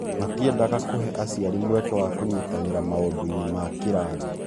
Matiendaga kũhe aciari mweke wa kũnyitanĩra maũndũ-inĩ ma kĩrathi.